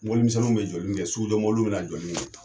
Mobilimisɛnniw bɛ jɔli min kɛ, sugujɔ mobiliw bɛna jɔli